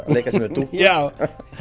leika sér með dúkkur já